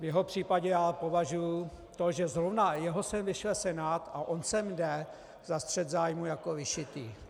V jeho případě já považuji to, že zrovna jeho sem vyšle Senát a on sem jde, za střet zájmů jako vyšitý.